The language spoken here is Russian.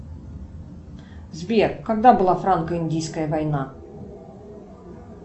сбер когда была франко индийская война